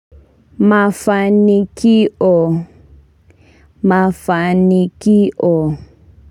Mafanikio mafanikio.